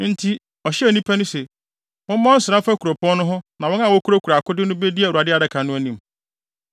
Enti, ɔhyɛɛ nnipa no se, “Mommɔ nsra mfa kuropɔn no ho na wɔn a wokurakura akode no bedi Awurade adaka no anim.”